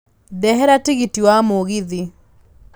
ndehera tigiti wa mũgithi